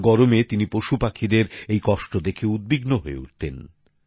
গরমে তিনি পশুপাখিদের এই কষ্ট দেখে উদ্বিগ্ন হয়ে উঠতেন